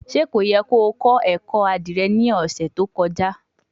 Ṣe ko yẹ ki o kọ ẹkọ adire ni ọsẹ to kọja?